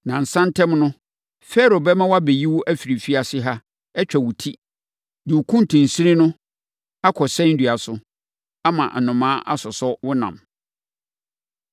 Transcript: Nnansa ntam no, Farao bɛma wɔabɛyi wo afiri afiase ha, atwa wo ti, de wo kuntunsini no akɔsɛn dua so, ama nnomaa asosɔ wo ɛnam.”